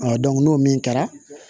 n'o min kɛra